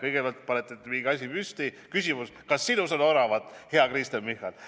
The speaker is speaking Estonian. Kõigepealt panete mingi asja püsti, on küsimus: "Kas sinus on oravat, hea Kristen Michal?